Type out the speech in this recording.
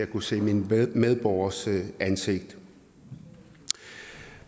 kunne se mine medborgeres ansigt